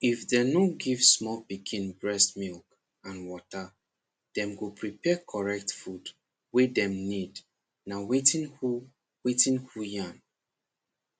if dem nor give small pikin breast milk and water dem go prepare correct food wey dem need na wetin who wetin who yarn